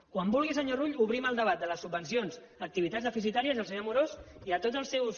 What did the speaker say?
quan vulgui senyor rull obrim el debat de les subvencions a activitats deficitàries i al senyor amorós i a tots els seus